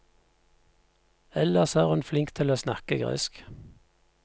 Ellers er hun flink til å snakke gresk.